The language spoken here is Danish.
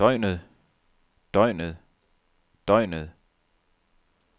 døgnet døgnet døgnet